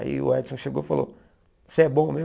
Aí o Edson chegou e falou, você é bom mesmo?